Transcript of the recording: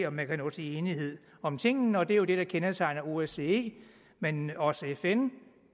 om man kan nå til enighed om tingene og det er jo det der kendetegner osce men også fn